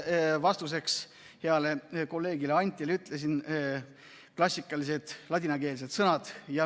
Ma vastuseks heale kolleegile Antile ütlesin klassikalised ladinakeelsed sõnad.